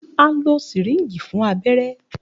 A lo Syringe fun abẹrẹ.